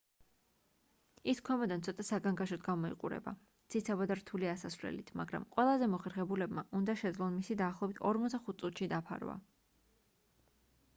ის ქვემოდან ცოტა საგანგაშოდ გამოიყურება ციცაბო და რთული ასასვლელით მაგრამ ყველაზე მოხერხებულებმა უნდა შეძლონ მისი დაახლოებით 45 წუთში დაფარვა